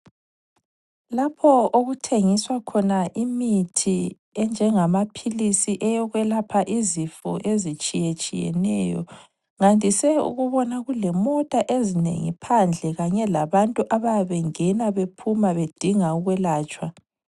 Lapho okuthengiswa khona imithi enjengama philizi eyokwelapha izifo ezitshiyetshiyeneyo, ngandise ukubona kulemota ezinengi phandle kanye labantu abayabe bengena bephuma bedinga ukwelatshwa.